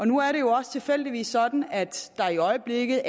nu er det jo tilfældigvis også sådan at der i øjeblikket